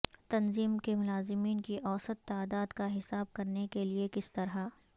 تنظیم کے ملازمین کی اوسط تعداد کا حساب کرنے کے لئے کس طرح